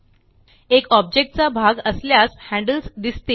एक ऑब्जेक्ट चा भाग असल्यास हैंडल्स दिसतील